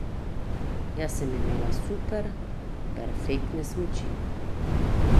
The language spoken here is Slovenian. Jaz sem imela super, perfektne smuči.